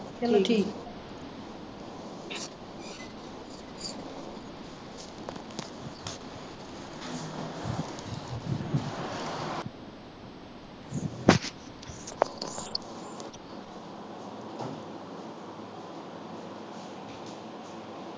ਠੀਕ।